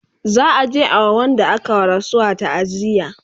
za'a je a wa Wanda aka wa rasuwa taaziya